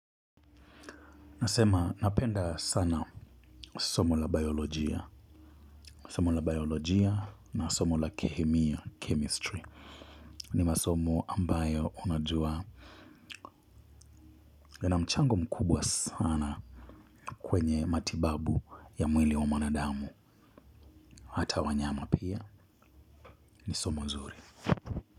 Nasema napenda sana somo la biolojia, somo la biolojia na somo la kehemia, chemistry. Ni masomo ambayo unajua yana mchango mkubwa sana kwenye matibabu ya mwili wa manadamu hata wanyama pia ni somo zuri.